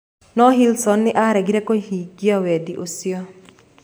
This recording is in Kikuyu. No Hillsong nĩ aaregire kũhingia wendi ũcio.